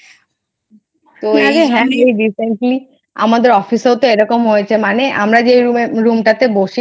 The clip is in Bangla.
এই recently আমাদের Office এরকম হয়েছে মানে আমরা যে Room টাতে বসি।